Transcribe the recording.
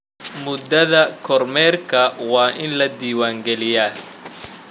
Muddada kormeerka waa in la diiwaangeliyaa.